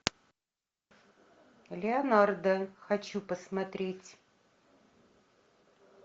леонардо хочу посмотреть